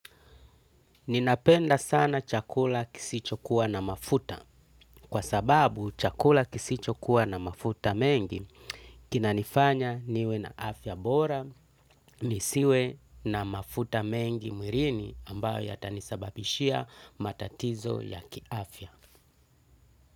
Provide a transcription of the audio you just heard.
Ninapenda sana chakula kisichokuwa na mafuta. Kwa sababu chakula kisicho kuwa na mafuta mengi, kinanifanya niwe na afya bora, nisiwe na mafuta mengi mwilini ambayo yatanisababishia matatizo ya kiafya.